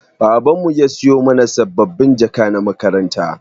Baban mu ya siyo mana sabbabin jaka na makaranta.